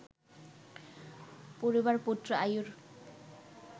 পুরুবার পুত্র আয়ুর